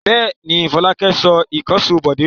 Bẹ́ẹ̀ ni, Fọlákẹ́ sọ ìkànṣó Bọ̀dé nù.